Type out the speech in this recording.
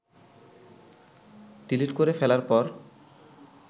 delete করে ফেলার পর